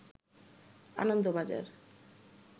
Anandabazar